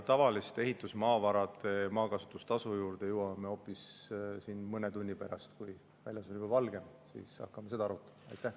Tavaliste ehitusmaavarade maakasutustasu juurde jõuame hoopis mõne tunni pärast – kui väljas on juba valge, siis hakkame neid asju arutama.